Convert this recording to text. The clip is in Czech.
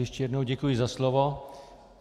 Ještě jednou děkuji za slovo.